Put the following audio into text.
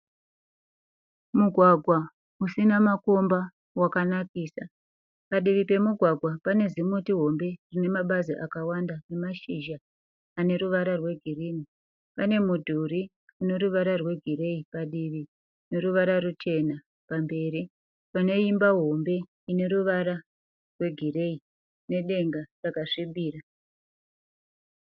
Mugwagwa usina makomba wakanakisa. Padivi pemugwagwa pane zimuti hombe rine mabazi akawanda nemashizha ane ruvara rwegirinhi. Pane mudhuri une ruvara rwegireyi padivi neruvara ruchena pamberi pane imba hombe ine ruvara rwegireyi nedenga rwakasvibira.